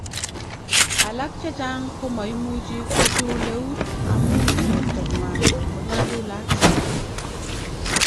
"Alak chechang komoimuchi kochul neut amun bortanywan konyalulat."